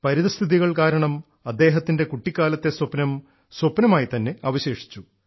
പരിതസ്ഥിതികൾ കാരണം അദ്ദേഹത്തിൻറെ കുട്ടിക്കാലത്തെ സ്വപ്നം സ്വപ്നമായിത്തന്നെ അവശേഷിച്ചു